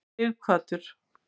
Sighvatur